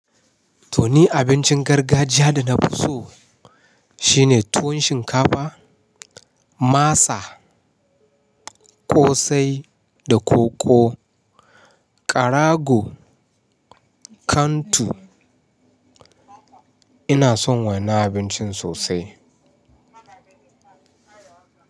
To ni abincin gargajiya da na fi so shine tuwon shinkafa, masa, ƙosai da koko, karago, kantu. Ina son wannan abincin sosai.